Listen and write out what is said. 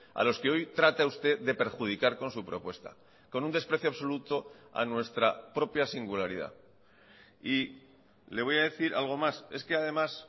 a los que hoy trata usted de perjudicar con su propuesta con un desprecio absoluto a nuestra propia singularidad y le voy a decir algo más es que además